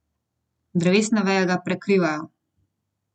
Drevesne veje ga prekrivajo.